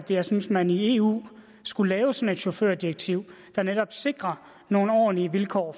jeg synes man i eu skulle lave sådan et chaufførdirektiv der netop sikrer nogle ordentlige vilkår